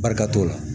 Barika t'o la